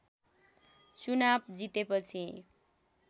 चुनाव जितेपछि